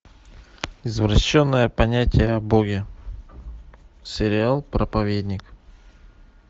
извращенное понятие о боге сериал проповедник